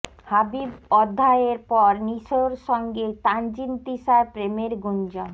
হাবিব অধ্যায়ের পর নিশোর সঙ্গে তানজিন তিশার প্রেমের গুঞ্জন